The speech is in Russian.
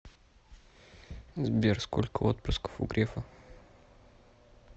сбер сколько отпрысков у грефа